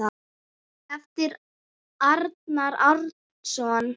eftir Arnar Árnason